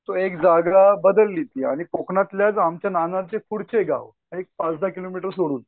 तो एक जागा बदलली ती आणि कोंकणातच आमच्या नानारचे पुढचे गाव एक पाच दहा किलोमीटर सोडून